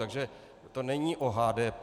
Takže to není o HDP.